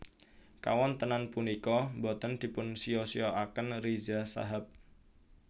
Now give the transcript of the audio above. Kawontenan punika boten dipunsiya siyakaken Riza Shahab